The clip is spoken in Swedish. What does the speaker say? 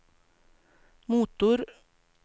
motor